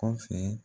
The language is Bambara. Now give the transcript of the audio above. Kɔfɛ